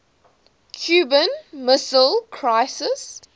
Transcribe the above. cuban missile crisis